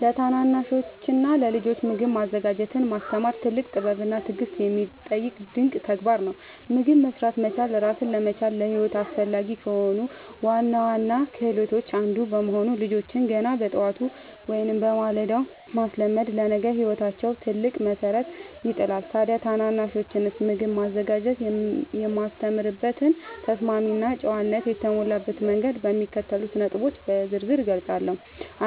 ለታናናሾችና ለልጆች ምግብ ማዘጋጀትን ማስተማር ትልቅ ጥበብና ትዕግሥት የሚጠይቅ ድንቅ ተግባር ነው። ምግብ መሥራት መቻል ራስን ለመቻልና ለሕይወት አስፈላጊ ከሆኑ ዋና ዋና ክህሎቶች አንዱ በመሆኑ፣ ልጆችን ገና በጠዋቱ (በማለዳው) ማስለመድ ለነገ ሕይወታቸው ትልቅ መሠረት ይጥላል። ታዲያ ታናናሾችን ምግብ ማዘጋጀት የማስተምርበትን ተስማሚና ጨዋነት የተሞላበት መንገድ በሚከተሉት ነጥቦች በዝርዝር እገልጻለሁ፦